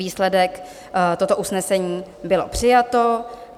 Výsledek: toto usnesení bylo přijato.